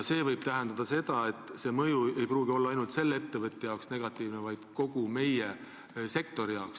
See võib tähendada seda, et juhtumi mõju ei pruugi olla negatiivne ainult selle ettevõtja jaoks, vaid kogu sektori jaoks.